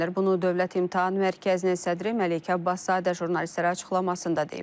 Bunu Dövlət İmtahan Mərkəzinin sədri Məleykə Abbaszadə jurnalistlərə açıqlamasında deyib.